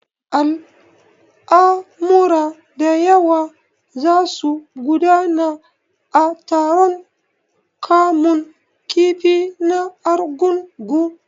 Al'amura da yawa za su gudana a taron kamun kifi na Argungu.